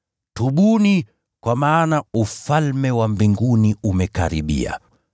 “Tubuni, kwa maana Ufalme wa Mbinguni umekaribia.”